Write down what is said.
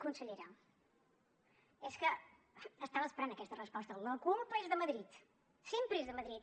consellera és que estava esperant aquesta resposta la culpa és de madrid sempre és de madrid